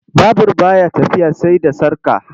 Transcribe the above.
Babur ba ya tafiya sai da sarƙa.